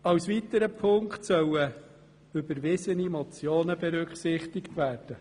Als weiterer Punkt sollen überwiesene Motionen berücksichtigt werden.